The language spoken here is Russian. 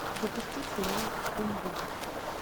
запусти сериал конь боджек